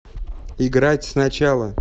играть сначала